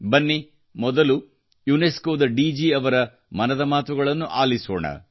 ಬನ್ನಿ ಮೊದಲು ಯುನೆಸ್ಕೊ ದ ಡಿಜಿ ಯವರ ಮನದ ಮಾತುಗಳನ್ನು ಆಲಿಸೋಣ